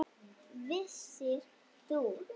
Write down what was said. Vissir þú.